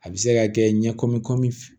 A bɛ se ka kɛ ɲɛ komi kɔmi